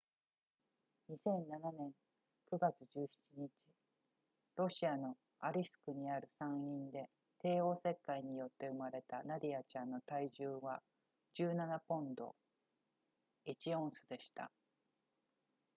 2007年9月17日ロシアのアリスクにある産院で帝王切開によって生まれたナディアちゃんの体重は17ポンド1オンスでした